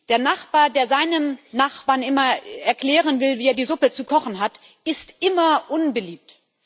Der Nachbar, der seinem Nachbarn immer erklären will, wie er die Suppe zu kochen hat, ist immer unbeliebt.